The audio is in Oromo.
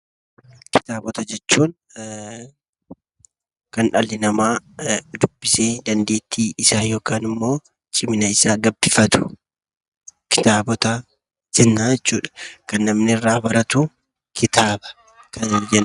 Kitaabota jechuun kan dhalli namaa dubbisee dandeettii isaa yookaan immoo cimina isaa gabbifatu kitaabota jenna jechuudha. Kan namni irraa baratu kitaaba kan nuyi jennu.